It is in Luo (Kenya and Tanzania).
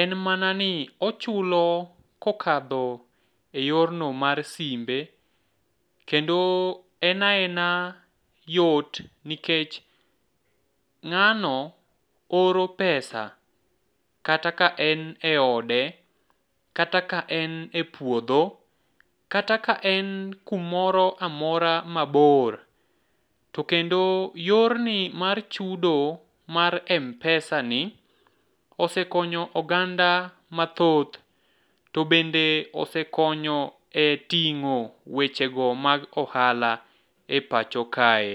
en mana ni ochulo kokadho e yorno mar simbe kendo en aena yot nikech ng'ano oro pesa kata ka en e ode, kata ka en e puodho, kata ka en kumoro amora mabor to kendo yorni mar chudo mar m-pesani osekonyo oganda mathoth to bende osekonyo e ting'o wechego mag ohala e pacho kae.